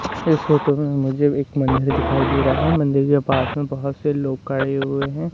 इस फोटो में मुझे एक मंदिर दिखाई दे रहा है मंदिर के पास में बहोत से लोग कड़े हुए हैं।